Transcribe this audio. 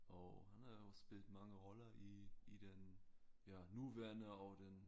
Og han er også spillet mange roller i i den ja nuværende og den